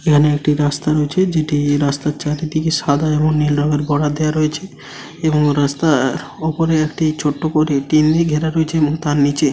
এখানে একটি রাস্তা রয়েছেযেটি এই রাস্তার চারিদিকে সাদা এবং নীল রঙের বর্ডার দেওয়া রয়েছে এবং রাস্তা উপরে একটি ছোট্ট করে টিন দিয়ে ঘেরা রয়েছে এবং তার নিচে--